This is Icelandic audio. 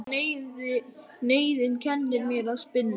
Og neyðin kennir mér að spinna.